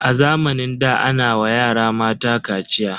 A zamanin da ana wa yara mata kaciya.